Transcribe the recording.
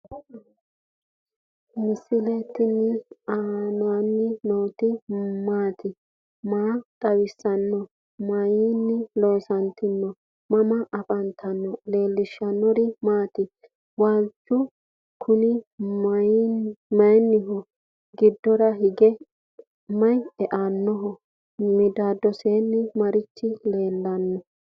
misile tini alenni nooti maati? maa xawissanno? Maayinni loonisoonni? mama affanttanno? leelishanori maati? walchu kunnni mayiniho? gidora hige mayi eanni no?midadosini marichi lelaani no?